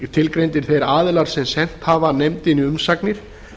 einnig tilgreindir þeir aðilar sem sent hafa nefndinni umsagnir